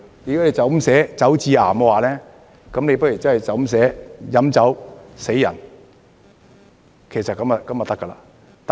如果你這樣寫"酒致癌"，不如寫"飲酒死人"，這樣便可以了。